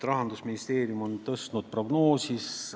Rahandusministeerium on prognoosi tõstnud.